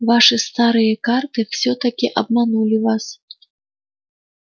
ваши старые карты всё-таки обманули вас